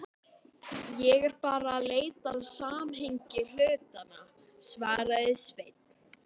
Ég er bara að leita að samhengi hlutanna, svaraði Sveinn.